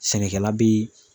Sɛnɛkɛla be ye